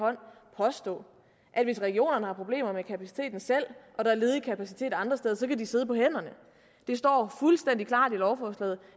påstå at hvis regionerne selv har problemer med kapaciteten og der er ledig kapacitet andre steder så kan de sidde på hænderne der står fuldstændig klart i lovforslaget